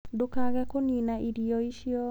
Ndũkage kũnina irio icio.